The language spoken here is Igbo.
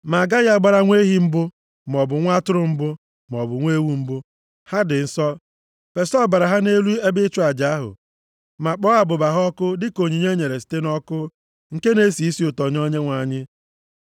“Ma a gaghị agbara nwa ehi mbụ, maọbụ nwa atụrụ mbụ maọbụ nwa ewu mbụ. Ha dị nsọ. Fesa ọbara ha nʼelu ebe ịchụ aja ahụ, ma kpọọ abụba ha ọkụ dịka onyinye e nyere site nʼọkụ, nke na-esi isi ụtọ nye Onyenwe anyị.